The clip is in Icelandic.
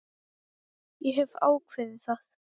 Ég hef ákveðið það.